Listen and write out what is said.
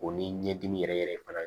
O ni ɲɛdimi yɛrɛ yɛrɛ fana